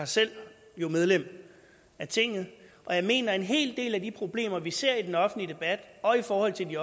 selv medlem af tinget og jeg mener at en hel del af de problemer vi ser i den offentlige debat og i forhold til de